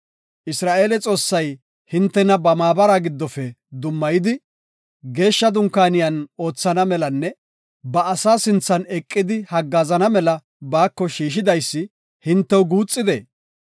Isra7eele Xoossay hintena ba maabara giddofe dummayidi, geeshsha dunkaaniyan oothana melanne ba asaa sinthan eqidi haggaazana mela baako shiishidaysi hintew guuxidee?